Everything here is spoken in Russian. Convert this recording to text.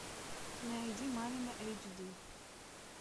найди мамино эйч ди